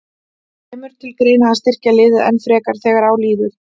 Kemur til greina að styrkja liðið enn frekar þegar á líður?